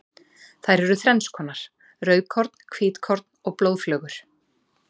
Þær eru þrennskonar, rauðkorn, hvítkorn og blóðflögur.